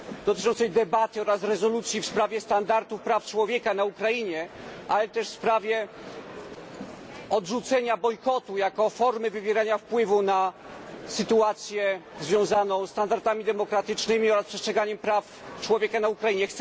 dotyczącego debaty oraz rezolucji w sprawie standardów praw człowieka na Ukrainie, ale też w sprawie odrzucenia bojkotu jako formy wywierania wpływu na sytuację związaną ze standardami demokratycznymi oraz przestrzeganiem praw człowieka na Ukrainie.